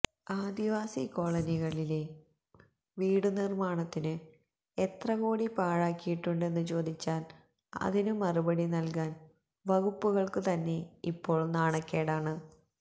ആദിവാസി കോളനികളിലെ വീടുനിർമാണത്തിനു എത്രകോടി പാഴാക്കിയിട്ടുണ്ടെന്നു ചോദിച്ചാൽ അതിനു മറുപടിനല്കാൻ വകുപ്പുകൾക്കു തന്നെ ഇപ്പോൾ നാണക്കേടാണ്